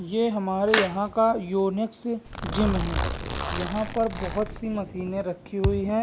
ये हमारे यहां का यूनिक्स जिम है यहां पर बहुत सारी मशीने लगी हुई है।